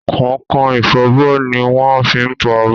Kọ̀nkọ̀n ifọbọ́ ni wọ́n ń fi fọ abọ́.